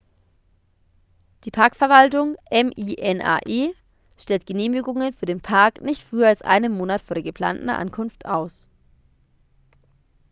die parkverwaltung minae stellt genehmigungen für den park nicht früher als einen monat vor der geplanten ankunft aus